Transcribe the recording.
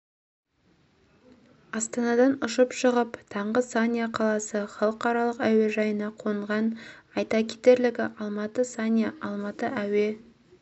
астанадан ұшып шығып таңғы санья қаласы халқаралық әуежайына қонған айта кетерлігі алматы санья алматы әуе